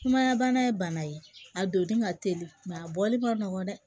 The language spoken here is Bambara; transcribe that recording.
Sumaya bana ye bana ye a donni ka teli a bɔli ma nɔgɔn dɛ